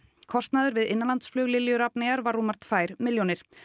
kostnaður við innanlandsflug Lilju Rafneyjar var rúmar tvær milljónir